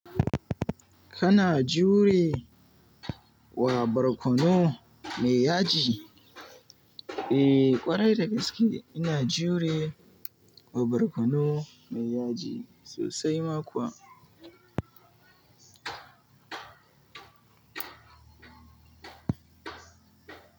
Kana jure wa barkonu mai yaji? Eh, ƙwarai da gaske ina jure wa barkonu mai yaji sosai ma kuwa.